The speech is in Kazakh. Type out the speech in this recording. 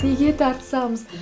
неге тартысамыз